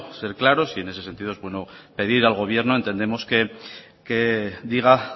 ser claros y en ese sentido es bueno pedir al gobierno entendemos que diga